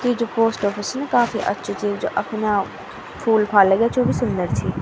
यि जू post office न काफी अच्छू च जू अख्न्यां फूल फाल लग्याँ च वू भी सुन्दर छी।